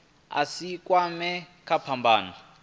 a si kwamee kha phambano